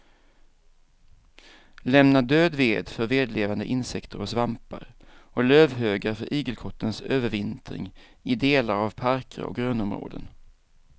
Lämna död ved för vedlevande insekter och svampar och lövhögar för igelkottens övervintring i delar av parker och grönområden.